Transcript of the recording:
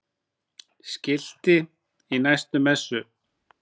Skilti í næstu messu?